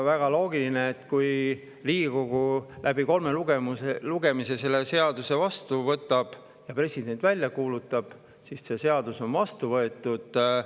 Väga loogiline, et kui Riigikogu kolme lugemise selle seaduse vastu võttis ja president välja kuulutas, siis see seadus.